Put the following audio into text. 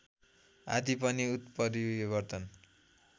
आदि पनि उत्परिवर्तन